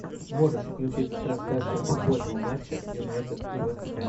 можешь включить трансляцию футбольного матча юнайтед и вест хэм